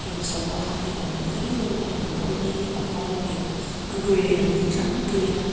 heng sava ho hi an mawi em em a an rawng hi a var leh a gray an ni tlangpui a.